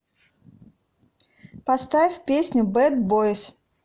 поставь песню бэд бойс